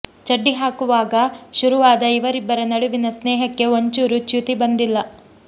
ಚಡ್ಡಿ ಹಾಕುವಾಗ ಶುರುವಾದ ಇವರಿಬ್ಬರ ನಡುವಿನ ಸ್ನೇಹಕ್ಕೆ ಒಂಚೂರು ಚ್ಯುತಿ ಬಂದಿಲ್ಲ